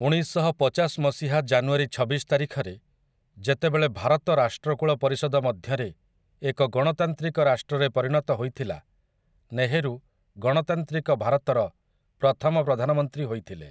ଉଣେଇଶଶହପଚାଶ ମସିହା ଜାନୁଆରୀ ଛବିଶ ତାରିଖରେ, ଯେତେବେଳେ ଭାରତ ରାଷ୍ଟ୍ରକୁଳ ପରିଷଦ ମଧ୍ୟରେ ଏକ ଗଣତାନ୍ତ୍ରିକ ରାଷ୍ଟ୍ରରେ ପରିଣତ ହୋଇଥିଲା, ନେହେରୁ ଗଣତାନ୍ତ୍ରିକ ଭାରତର ପ୍ରଥମ ପ୍ରଧାନମନ୍ତ୍ରୀ ହୋଇଥିଲେ ।